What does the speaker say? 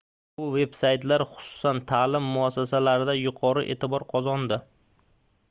bu veb-saytlar xususan taʼlim muassasalarida yuqori eʼtibor qozondi